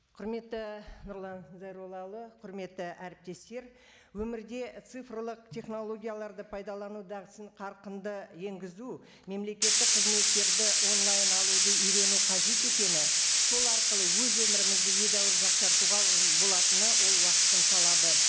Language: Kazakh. құрметті нұрлан зайроллаұлы құрметті әріптестер өмірде цифрлық технологияларды пайдалану дағдысын қарқынды енгізу мемлекеттік қызметтерді онлайн алуды үйрену қажет екені сол арқылы өз өмірімізді едәуір жақсартуға і болатыны ол уақыттың талабы